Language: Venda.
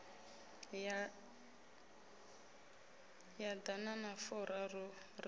ya ḓana na furaru ri